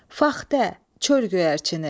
Faxtə, çöl göyərçini.